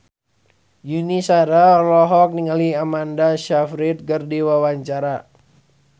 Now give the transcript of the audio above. Yuni Shara olohok ningali Amanda Sayfried keur diwawancara